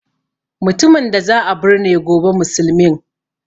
Mutumin da za a burne gobe musulmin